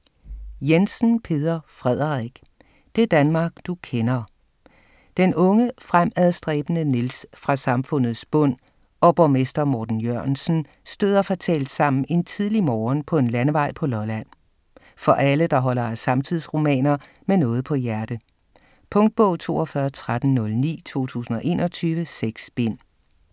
Jensen, Peder Frederik: Det Danmark du kender Den unge fremadstræbende Niels fra samfundets bund og borgmester Morten Jørgensen støder fatalt sammen en tidlig morgen på en landevej på Lolland. For alle der holder af samtidsromaner med noget på hjerte. Punktbog 421309 2021. 6 bind.